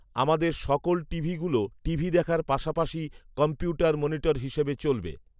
আমাদের সকল টিভিগুলো টিভি দেখার পাশাপাশি কম্পউটার মনিটর হিসাবে চলবে